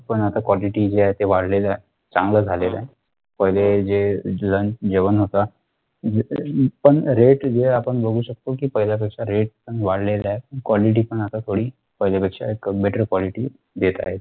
पण आता quality जे आहे ते वाढलेलं ए चांगलं झालेलं ए पहिले जे lunch जेवण होत पण rate जे आपण बघू शकतो कि पहिल्यापेक्षा rate पण वाढलेले आहे quality पण आता थोडी पहिल्यापेक्षा एक better quality देत आहे